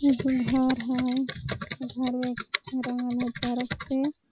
एगो घर हई घरवा रंगल हई चरक से।